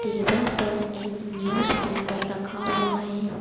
Table पर एक newspaper रखा हुआ है।